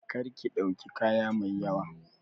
Kar ki ɗauki kaya mai yawa!